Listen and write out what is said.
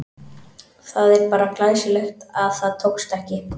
Það er bara glæsilegt að það tókst ekki!